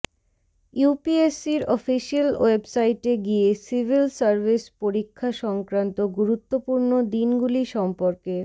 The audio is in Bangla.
ইউপিএসসির অফিসিয়াল ওয়েবসাইটে গিয়ে সিভিল সার্ভিস পরীক্ষা সংক্রান্ত গুরুত্বপূর্ণ দিনগুলি সম্পর্কে